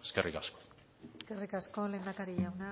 eskerrik asko eskerrik asko lehendakari jauna